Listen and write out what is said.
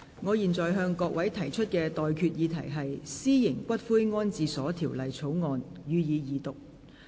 我現在向各位提出的待議議題是：《私營骨灰安置所條例草案》，予以二讀。